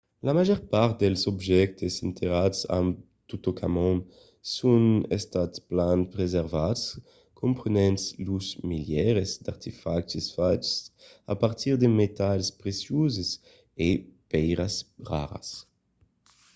la màger part dels objèctes enterrats amb totankhamon son estats plan preservats comprenent los milièrs d'artefactes faches a partir de metals precioses e de pèiras raras